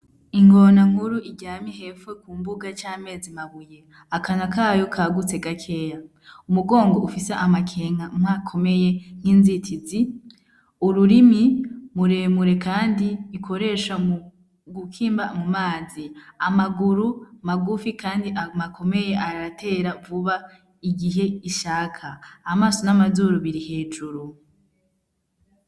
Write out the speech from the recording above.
Ingona nkuru iryamye hepfo Ku mbuga cameze mabuye akanwa kayo kagutse gakeyi umugongo ufise amakenga amwe akomeye n'inzitizi ururimi muremure kandi ikoresha mu gukima mu mazi amaguru magufi kandi akomeye aratera vuba igihe ishaka amaso n'amazuru biri hejuru.